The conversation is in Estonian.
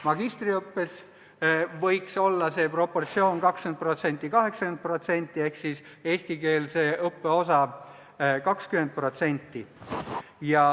Magistriõppes võiks see proportsioon olla 20% : 80% ehk siis eestikeelse õppe osa 20%.